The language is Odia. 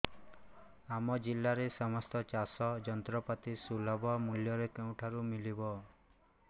ଆମ ଜିଲ୍ଲାରେ ସମସ୍ତ ଚାଷ ଯନ୍ତ୍ରପାତି ସୁଲଭ ମୁଲ୍ଯରେ କେଉଁଠାରୁ ମିଳିବ